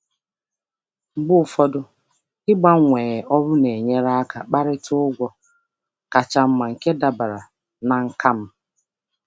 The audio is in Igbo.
Mgbe ụfọdụ, ịgbanwe ọrụ na-enyere aka ịkparịta ụgwọ ọrụ ka mma nke dabara na nkà m.